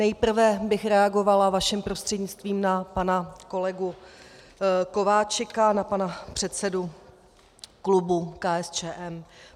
Nejprve bych reagovala vaším prostřednictvím na pana kolegu Kováčika, na pana předsedu klubu KSČM.